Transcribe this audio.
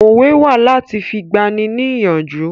Òwe wà láti fi gbà ni ní ìyànjú